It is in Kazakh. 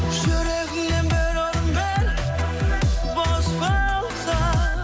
жүрегіңнен бір орын бер бос болса